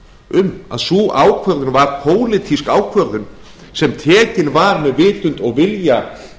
um að sú ákvörðun var pólitísk ákvörðun sem tekin var með vitund og vilja